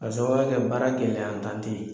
Ka sabuya kɛ baara gɛlɛya tan te ye